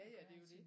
Jaja det er jo det